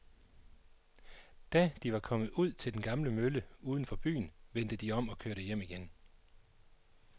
Da de var kommet ud til den gamle mølle uden for byen, vendte de om og kørte hjem igen.